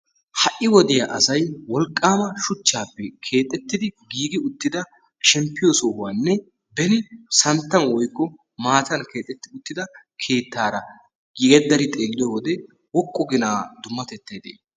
Ha"i wodiya asayi wolqqaama shuchchaani keexettidi giigi uttida shemppiyo sohuwanne beni santtan woykko maatan keexetti uttida keettaara geeddari xeelliyode woqqu gina dummatettayi de"ii?